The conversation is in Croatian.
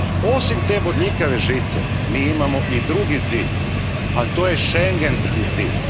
Osim te bodljikave žice, mi imamo i drugi zid, a to je schengenski zid.